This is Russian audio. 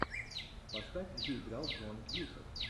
поставь где играл джон кьюсак